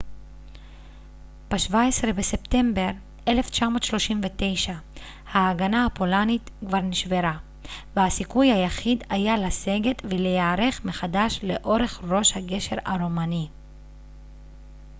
ב-17 בספטמבר 1939 ההגנה הפולנית כבר נשברה והסיכוי היחיד היה לסגת ולהיערך מחדש לאורך ראש הגשר הרומני